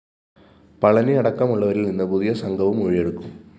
പളനിയടക്കമുള്ളവരില്‍ നിന്ന് പുതിയ സംഘവും മൊഴിയെടുക്കും